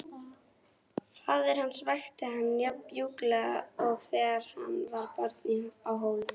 Faðir hans vakti hann jafn mjúklega og þegar hann var barn á Hólum.